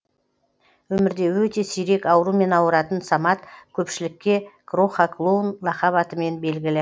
өмірде өте сирек аурумен ауыратын самат көпшілікке кроха клоун лақап атымен белгілі